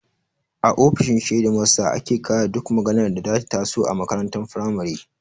A ofishin shedimasta ake ƙare duk maganar da ta taso a makarantar firamare